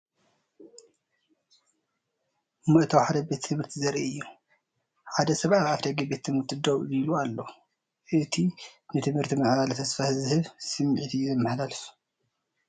መእተዊ ሓደ ቤት ትምህርቲ ዘርኢ እዩ። ሓደ ሰብ ኣብ ኣፍደገ ቤት ትምህርቲ ደው ኢሉ ኣሎ። እቲ ንትምህርትን ምዕባለን ተስፋ ዝህብ ስምዒት እዩ ዘመሓላልፍ።